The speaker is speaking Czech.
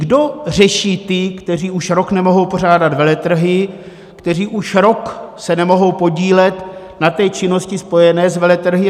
Kdo řeší ty, kteří už rok nemohou pořádat veletrhy, kteří se už rok nemohou podílet na té činnosti spojené s veletrhy?